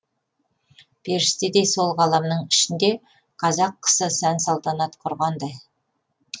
періштедей сол ғаламның ішінде қазақ қысы сән салтанат құрғандай